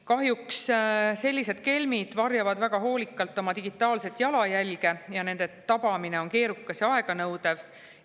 Kahjuks varjavad sellised kelmid väga hoolikalt oma digitaalset jalajälge ja nende tabamine on keerukas ja aeganõudev.